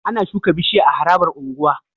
Ana shuka bishiya a harabar unguwa